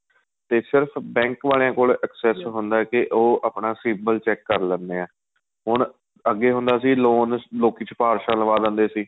ਤੇ ਸਿਰਫ਼ bank ਵਾਲਿਆਂ ਕੋਲ excess ਹੁੰਦਾ ਕੀ ਉਹ ਆਪਣਾ civil check ਕਰ ਲੈਂਨੇ ਏ ਹੁਣ ਅੱਗੇ ਹੁੰਦਾ ਸੀ loan ਲੋਕੀ ਸ੍ਪਾਰ੍ਸਾਂ ਲਵਾਂ ਲੈਂਦੇ ਸੀ